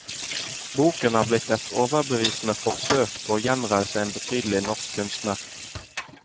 Boken er blitt et overbevisende forsøk på å gjenreise en betydelig norsk kunstner.